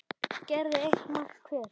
gerði eitt mark hver.